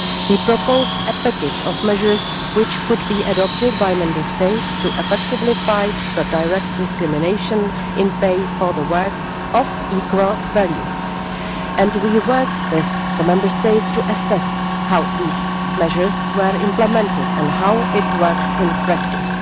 We proposed a package of measures which could be adopted by Member States to effectively fight the direct discrimination in pay for work of equal value, and we work with the Member States to assess how these measures were implemented and how it works in practice.